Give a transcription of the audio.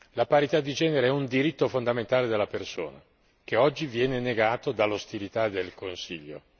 La parità di genere è un diritto fondamentale della persona, che oggi viene negato dall'ostilità del Consiglio.